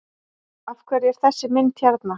Af hverju er þessi mynd hérna?